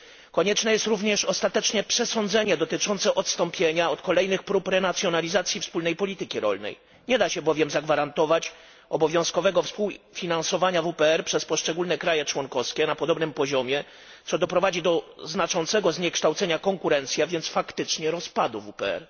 Konieczne jest również ostateczne przesądzenie dotyczące odstąpienia od kolejnych prób renacjonalizacji wspólnej polityki rolnej. Nie da się bowiem zagwarantować obowiązkowego współfinansowania WPR przez poszczególne kraje członkowskie na podobnym poziomie, co doprowadzi do znaczącego zniekształcenia konkurencji, więc faktycznie rozpadu WPR.